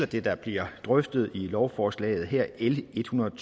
det der bliver drøftet i lovforslaget her l en hundrede og